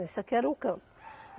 Esse aqui era um campo.